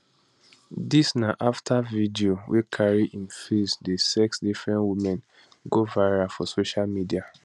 dis na afta video wey carry im face dey sex different women go viral for social media